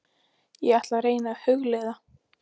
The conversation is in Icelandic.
Ég ætla að reyna að hugleiða.